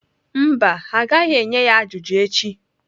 Mba, ha agaghị enye ya ajụjụ echi.